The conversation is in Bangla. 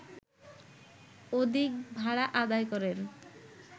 অধিক ভাড়া আদায় করেন